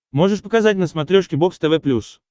можешь показать на смотрешке бокс тв плюс